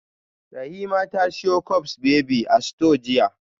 Rahima ta siyo cups baby a store jiya